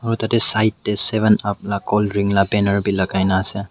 aru tate side te seven up la colddrink la banner bhi lagai na ase.